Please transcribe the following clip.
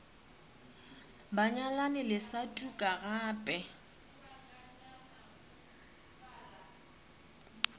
banyalani le sa tuka gape